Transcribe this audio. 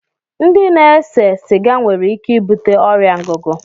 Ndị na-ese siga nwere ike ibute ọrịa ngụgụ